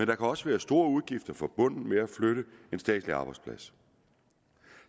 kan også være store udgifter forbundet med at flytte en statslig arbejdsplads